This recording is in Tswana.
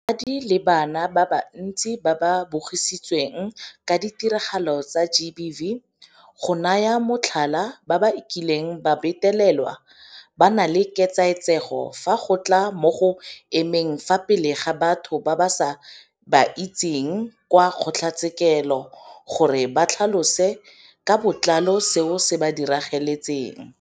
Basadi le bana ba bantsi ba ba bogisitsweng ka ditiragalo tsa GBV, go naya motlhala, ba ba kileng ba betelelwa, ba na le ketsaetsego fa go tla mo go emeng fa pele ga batho ba sa ba itse kwa kgotlatshekelo gore ba tlhalose ka botlalo seo se ba diragaletseng.